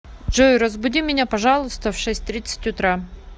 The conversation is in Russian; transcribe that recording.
джой разбуди меня пожалуйста в шесть тридцать утра